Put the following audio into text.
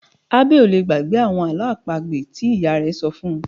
Abbey ò lè gbàgbé àwọn àlọ́ àpagbè tí ìyá ìyá rẹ̀ ṣọ fún -un